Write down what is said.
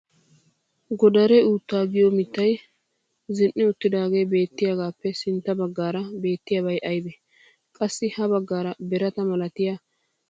Godare uuttaa giyo mittay zin"i uttidaagee beetiyagaappe sintta baggaara beetiyaabay aybee? Qassi ha baggaara birata malatiya maatta meray deiyogee aybee?